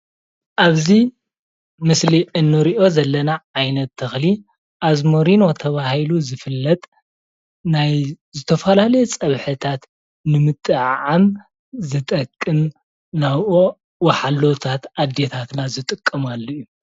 ኣብዚ ምስሊ እንሪኦ ዘለና ዓይነት ተኽሊ ኣዝማሪኖ ተባሂሉ ዝፍለጥ ናይ ዝተፈላለዩ ፀብሕታት ንምጥዕዓም ዝጠቅም ናይ ወሓሎታት ኣዴታት ዝጥቀማሉ እዩ።